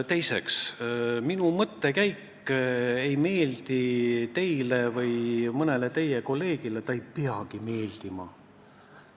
Teiseks, minu mõttekäik ei meeldi teile või mõnele teie kolleegile – ei peagi meeldima.